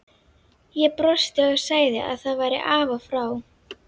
Ég brosti og sagði að það væri af og frá.